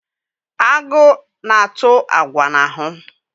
Agụ na-atụ agwa n'ahụ.